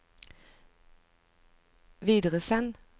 videresend